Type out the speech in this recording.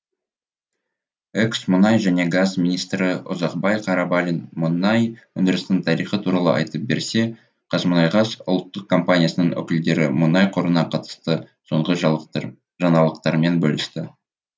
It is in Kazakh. экс мұнай және газ министрі ұзақбай қарабалин мұнай өндірісінің тарихы туралы айтып берсе қазмұнайгаз ұлттық компаниясының өкілдері мұнай қорына қатысты соңғы жаңалықтармен бөлісті